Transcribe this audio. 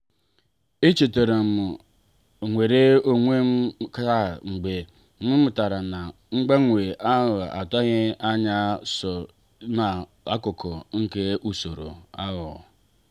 echetaram nnwere onwe m taa mgbe m matara na mgbanwe atughi anya ya so ná akụkụ nke usoro ahụ.